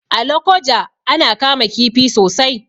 A Lokoja ana kama kifi sosai.